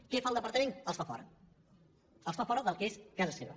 què fa el departament els fa fora els fa fora del que és casa seva